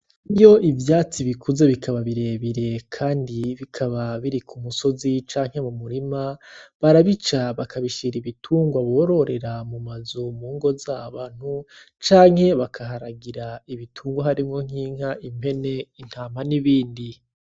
Iyo ivyatsi bikuze bikaba birebire kandi bikaba biri ku musozi canke mu murima, barabica bakabishira ibitungwa bororera mu mazu, mu ngo z'abantu canke bakaharagira ibitungwa harimwo nk'inka, impene, intama n'ibindi.